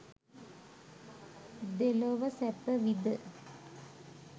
දෙලොව සැපවිඳ